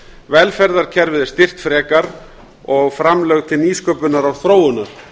velferðarkerfið er styrkt frekar og framlög til nýsköpunar og þróunar